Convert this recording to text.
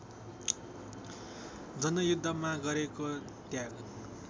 जनयुद्धमा गरेको त्याग